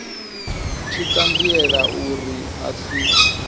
tshi ṱanziela uri a si